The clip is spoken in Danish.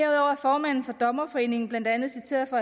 er formanden for dommerforeningen blandt andet citeret for